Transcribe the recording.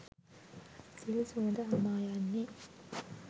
සිල් සුවද හමා යන්නේ